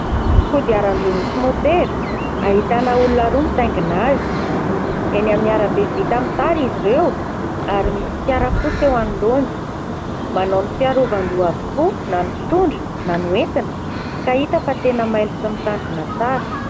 Kodiaran-droa misy môtera, ahitana olona roa mitaingina azy. Eny amin'ny arabe vita amin'ny tara izy ireo ary misy fiara fotsy eo anoloany. Manao ny fiarovan-doha avokoa na ny mpitondra na ny ho entina ka hita fa tena mailo sy mitandrina tsara.